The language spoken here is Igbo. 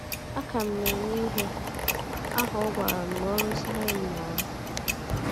Aka m na - eme ihe ahụ ọ gwara m n’ọrụ nsụgharị m na - arụ.